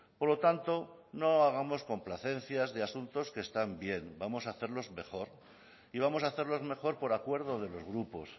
por lo tanto no hagamos complacencias de asuntos que están bien vamos a hacerlos mejor y vamos a hacerlos mejor por acuerdo de los grupos